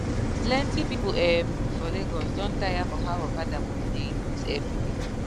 plenti people um for lagos don tire for how okada money dey increase everyday